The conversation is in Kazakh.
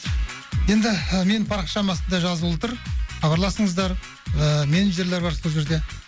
енді менің парақшамның астында жазулы тұр хабарласыңыздар ыыы менеджерлер бар сол жерде